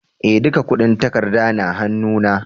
Eh, duka kudin takarda na hannu na.